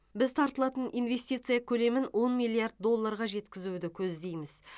біз тартылатын инвестиция көлемін он миллиард долларға жеткізуді көздейміз